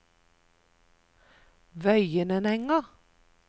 Vøyenenga